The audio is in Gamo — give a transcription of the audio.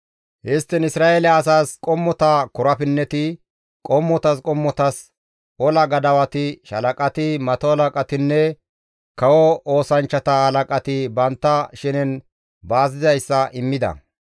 Histtiin Isra7eele asaas qommota korapinneti, qommotas qommotas ola gadawati, shaalaqati, mato halaqatinne kawo oosanchchata halaqati bantta shenen baas dizayssa immida.